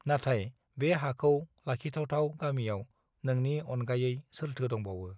नाथाय बे हाखौ लाखिथावथाव गामियाव नोंनि अनगायै सोरथो दंबावो